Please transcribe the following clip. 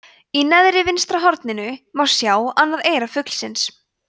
í neðra vinstra horninu má sjá annað eyra fuglsins